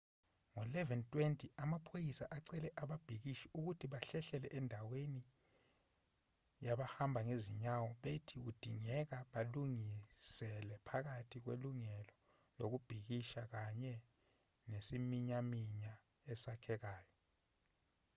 ngo-11:20 amaphoyisa acele ababhikishi ukuthi bahlehlele endaweni yabahamba ngezinyawo bethi kudingeka balinganisele phakathi kwelungelo lokubhikisha kanye nesiminyaminya esakhekayo